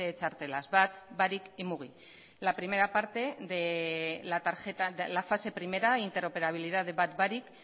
txartelas bat barik y mugi la primera parte de la fase primera interoperabilidad de bat barik